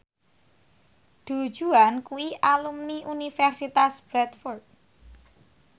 Du Juan kuwi alumni Universitas Bradford